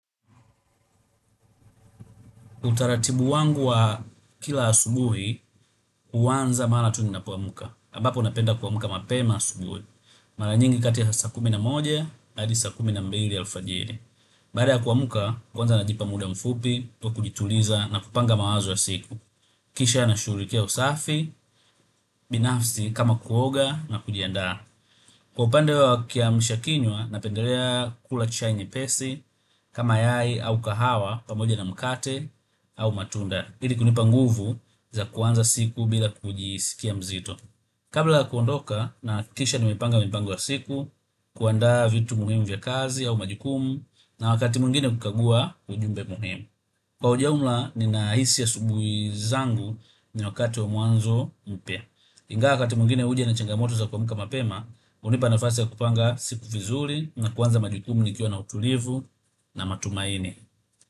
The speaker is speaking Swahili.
Utaratibu wangu wa kila asubuhi huanza mara tu ninapoamka. Ambapo napenda kuamka mapema asubuhi. Mara nyingi kati ya saa kumi na moja, hadi saa kumi na mbili alfajiri. Baada ya kuamka, kwanza najipa muda mfupi wa kujituliza na kupanga mawazo ya siku. Kisha nashughulikia usafi, binafsi kama kuoga na kujiandaa. Kwa upande wa kiamshakinywa, napendelea kula chai nyepesi kama yai au kahawa pamoja na mkate au matunda. Ili kunipa nguvu za kuanza siku bila kujisikia mzito. Kabla ya kuondoka nahakikisha nimepanga mipango ya siku kuandaa vitu muhimu vya kazi au majukumu na wakati mwingine kukagua ujumbe muhimu. Kwa ujumla ninahisi asubuhi zangu ni wakati wa mwanzo mpya. Ingawa wakati mwingine huja na changamoto za kuamka mapema hunipa nafasi ya kupanga siku vizuri na kuanza majukumu nikiwa na utulivu na matumaini.